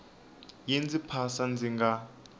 yi ndzi phasa ndzi nga